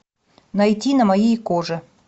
найти на моей коже